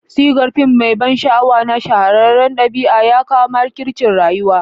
Sigar fim mai ban sha'awa na shahararren adabi ya kawo makircin rayuwa.